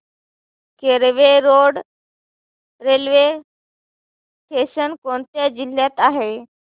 Kelve road railway station कोणत्या जिल्ह्यात आहे